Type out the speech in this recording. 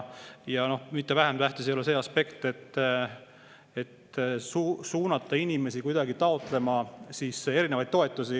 Ja mitte vähem tähtis ei ole see aspekt, et inimesi suunatakse taotlema erinevaid toetusi.